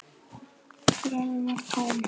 Gröfin var tóm!